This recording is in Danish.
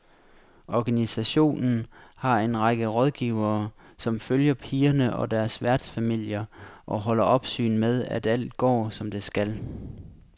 Organisationen har en række rådgivere, som følger pigerne og deres værtsfamilier og holder opsyn med, at alt går som det skal.